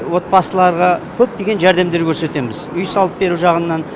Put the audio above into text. отбасыларға көптеген жәрдемдер көрсетеміз үй салып беру жағынан